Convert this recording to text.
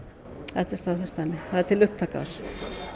þetta er staðfest dæmi það er til upptaka af þessu